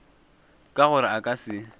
ka gore a ka se